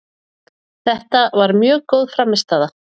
Þetta var mjög góð frammistaða